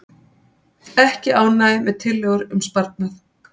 Ekki ánægja með tillögur um sparnað